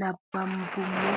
Nabbambummo.